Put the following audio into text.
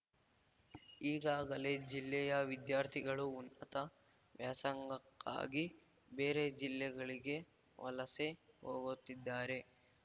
ಈಗಾಗಲೇ ಜಿಲ್ಲೆಯ ವಿದ್ಯಾರ್ಥಿಗಳು ಉನ್ನತ ವ್ಯಾಸಂಗಕ್ಕಾಗಿ ಬೇರೆ ಜಿಲ್ಲೆಗಳಿಗೆ ವಲಸೆ ಹೋಗುತ್ತಿದ್ದಾರೆ